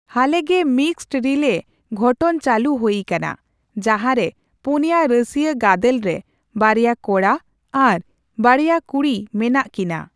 ᱦᱟᱹᱞᱮᱜᱮ, mixed ᱨᱤᱞᱮ ᱜᱷᱚᱴᱚᱱ ᱪᱟᱹᱞᱩ ᱦᱩᱭᱟᱠᱟᱱᱟ, ᱡᱟᱦᱟᱸᱨᱮ ᱯᱩᱱᱭᱟ ᱨᱟᱹᱥᱤᱭᱟᱹ ᱜᱟᱫᱮᱞ ᱨᱮ ᱵᱟᱨᱭᱟ ᱠᱚᱲᱟ ᱟᱨ ᱵᱟᱨᱭᱟ ᱠᱩᱲᱤ ᱢᱮᱱᱟᱜ ᱠᱤᱱᱟ ᱾